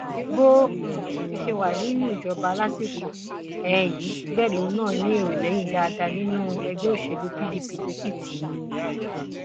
bó um ti ṣẹ wá nínú ìjọba lásìkò um yìí bẹẹ lòun náà ní èrò lẹyìn dáadáa nínú ẹgbẹ òṣèlú pdp lẹkìtì